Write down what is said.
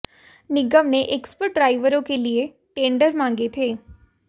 निगम ने एक्सपर्ट ड्राइवरों के लिए टेंडर मांगे थे